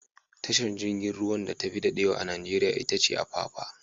Tashar jirgin ruwan da tafi dadewa a Najeriya itace Apapa?